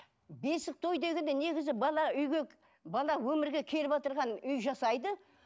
бесік той дегенде негізі бала үйге бала өмірге үй жасайды